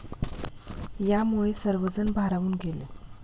यामुळे सर्वजण भारावून गेले.